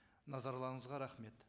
назарларыңызға рахмет